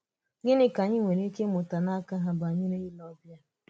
Gịnị ka anyị nwere ike ị̀mụ̀tà n’aka ha banyere ìlè ọbìà?